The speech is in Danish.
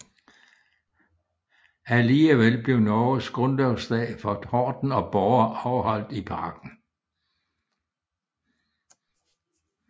Alligevel blev Norges grundlovsdag for Horten og Borre afholdt i parken